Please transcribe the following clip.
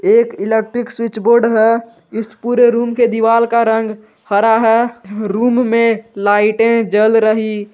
एक electric switch board है इस पूरे रूम के दीवाल का रंग हरा है रूम में लाइटे जल रही।